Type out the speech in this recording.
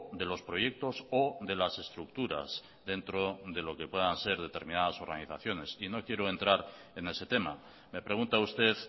de los proyectos o de las estructuras dentro de lo que puedan ser determinadas organizaciones y no quiero entrar en ese tema me pregunta usted